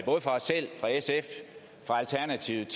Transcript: både fra os selv fra sf og fra alternativet